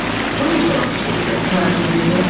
Bu necə olan şeydir, təəccüblüdür.